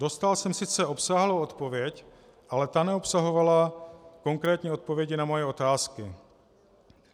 Dostal jsem sice obsáhlou odpověď, ale ta neobsahovala konkrétní odpovědi na moje otázky: